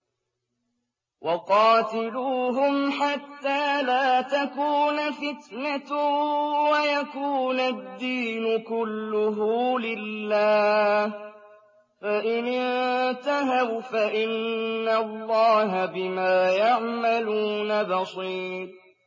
وَقَاتِلُوهُمْ حَتَّىٰ لَا تَكُونَ فِتْنَةٌ وَيَكُونَ الدِّينُ كُلُّهُ لِلَّهِ ۚ فَإِنِ انتَهَوْا فَإِنَّ اللَّهَ بِمَا يَعْمَلُونَ بَصِيرٌ